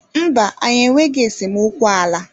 Mba, anyị enweghị esemokwu ala.